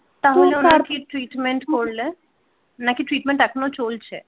তাহল কি ট্রীটমেন্ট করলে নাকি ট্রীটমেন্ট এখনো চলছে?